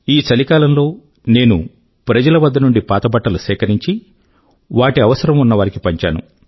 ఈ చలికాలం లో నేను ప్రజల వద్ద నుండి పాత బట్టలు సేకరించి వాటి అవసరం ఉన్నవారికి పంచాను